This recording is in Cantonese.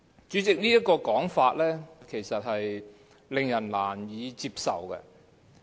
主席，這種說法其實是令人難以接受的。